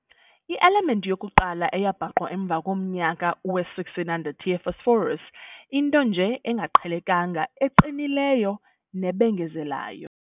I-element yokuqala eyabhaqwa emva komnyaka we-1600 ye-phosphorus, into nje engaqhelekanga eqinileyo nebengezelayo.